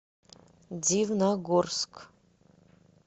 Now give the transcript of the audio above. дивногорск